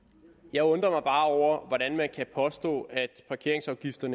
jeg undrer mig bare over hvordan man kan påstå at parkeringsafgifter